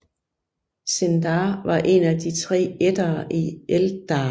Sindar var en af de tre ætter af Eldar